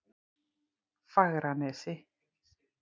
Fagranesi